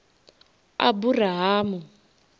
aburahamu